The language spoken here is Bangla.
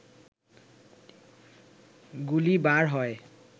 গুলি বার হয়